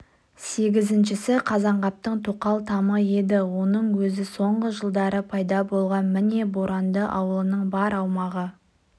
сегізіншісі қазанғаптың тоқал тамы еді оның өзі соңғы жылдары пайда болған міне боранды ауылының бар аумағы